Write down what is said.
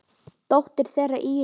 Dóttir þeirra er Íris.